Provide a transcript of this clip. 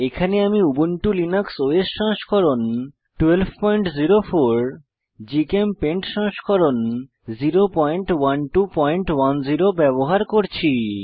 এখানে আমি Ubuntu Linux OS সংস্করণ 1204 জিচেমপেইন্ট সংস্করণ 01210 ব্যবহার করছি